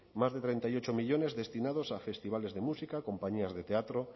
más de treinta y ocho millónes destinados a festivales de música compañías de teatro